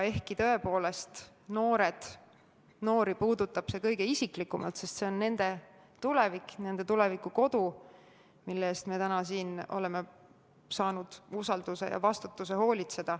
Küllap see tõepoolest noori puudutab kõige isiklikumalt – see on nende tulevik, nende tulevikukodu, mille eest hoolitsema meid täna siin on usaldatud.